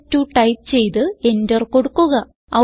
str2 type ചെയ്ത് enter കൊടുക്കുക